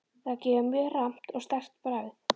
Það gefur mjög rammt og sterkt bragð.